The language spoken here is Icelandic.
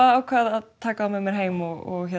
ákvað að taka þá með mér heim og